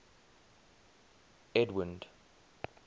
edwind